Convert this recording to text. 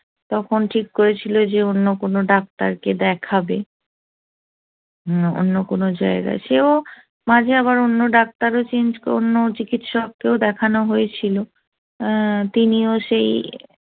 তখন ঠিক করেছিল যে অন্য কোন ডাক্তারকে দেখাবে অন্য কোন জায়গায় সেও মাঝে আবার আবার অন্য doctor ও change কর অন্য চিকিৎসক কেউ দেখানো হয়েছিল তিনিও সেই